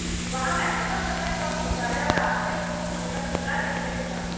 वहां मैचों का समय कम होता है और आपको एक्सपोज होने का खतरा नहीं रहता